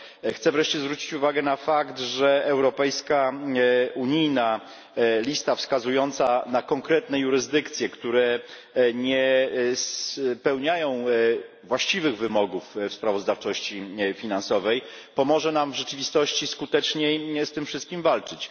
Chcę wreszcie zwrócić uwagę na fakt, że europejska, unijna lista wskazująca na konkretne jurysdykcje, które nie spełniają właściwych wymogów w sprawozdawczości finansowej, pomoże nam w rzeczywistości skuteczniej z tym wszystkim walczyć.